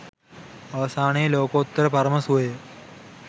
අවසානයේ ලෝකෝත්තර පරම සුවය